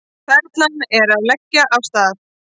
Perlan að leggja af stað